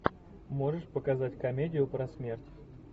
можешь показать комедию про смерть